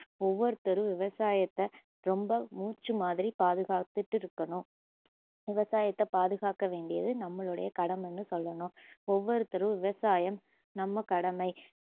ஒவ்வொருத்தரும் விவசாயத்த ரொம்ப மூச்சு மாதிரி பாதுகாத்துட்டு இருக்கணும் விவசாயத்த பாதுகாக்க வேண்டியது நம்மளுடைய கடமைன்னு சொல்லணும் ஒவ்வொருத்தரும் விவசாயம் நம்ம கடமை